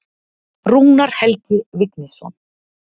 Rúnar Helgi Vignisson.